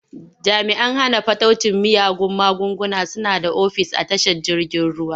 Jami'an hana fataucin miyagun magunguna suna da ofis a tashar jirgin ruwa.